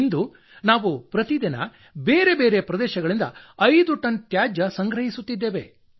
ಇಂದು ನಾವು ದಿನಂಪ್ರತಿ ಬೇರೆ ಬೇರೆ ಪ್ರದೇಶಗಳಿಂದ ಐದು ಟನ್ ತ್ಯಾಜ್ಯ ಸಂಗ್ರಹಿಸುತ್ತಿದ್ದೇವೆ